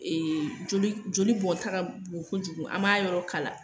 joli joli bɔnta ka bon kojugu, an m'a yɔrɔ kala